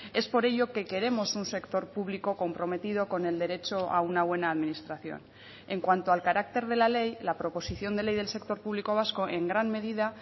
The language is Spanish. es por ello que queremos un sector público comprometido con el derecho a una buena administración en cuanto al carácter de la ley la proposición de ley del sector público vasco en gran medida